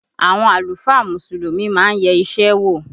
Àwọn àlùfáà Mùsùlùmí má ń yẹ isẹ wò